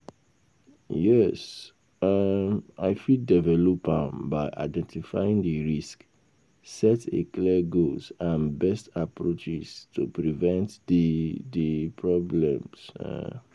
yes, um i fit develop am by identifying di risks, set a clear goals and best approaches to prevent di di problems. um